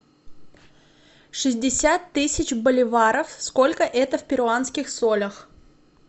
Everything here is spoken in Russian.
шестьдесят тысяч боливаров сколько это в перуанских солях